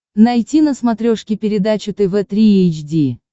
найти на смотрешке передачу тв три эйч ди